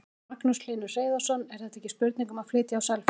Magnús Hlynur Hreiðarsson: Er þetta ekki spurning um að flytja á Selfoss?